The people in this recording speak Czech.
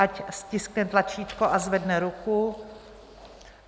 Ať stiskne tlačítko a zvedne ruku.